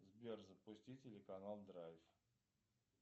сбер запусти телеканал драйв